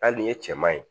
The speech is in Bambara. Hali nin ye cɛman ye